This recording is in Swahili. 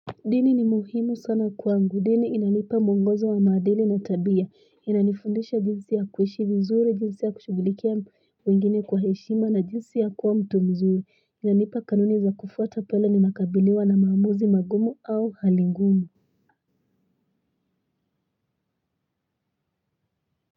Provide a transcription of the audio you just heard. Dini ni muhimu sana kwangu dini inanipa muongozo wa maadili na tabia inanifundisha jinsi ya kuishi vizuri jinsi ya kushughulikia wengine kwa heshima na jinsi ya kuwa mtu mzuri inanipa kanuni za kufuata pale ninakabiliwa na maamuzi magumu au hali ngumu.